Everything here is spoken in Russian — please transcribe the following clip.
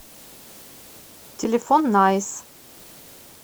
телефон найс